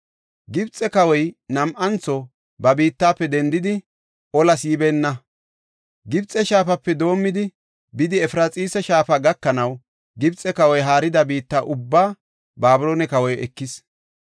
Gibxe kawoy nam7antho ba biittafe dendidi, olas yibeenna; Gibxe Shaafape doomidi, bidi Efraxiisa Shaafa gakanaw, Gibxe kawoy haarida biitta ubbaa Babiloone kawoy ekis.